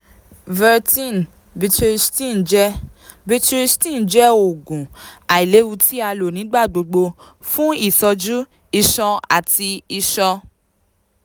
vertin (betahistine) jẹ (betahistine) jẹ oogun ailewu ti a lo nigbagbogbo fun itọju iṣan ati iṣan